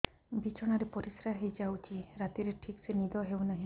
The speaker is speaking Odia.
ବିଛଣା ରେ ପରିଶ୍ରା ହେଇ ଯାଉଛି ରାତିରେ ଠିକ ସେ ନିଦ ହେଉନାହିଁ